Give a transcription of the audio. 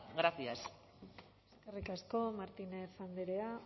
gracias eskerrik asko martínez andrea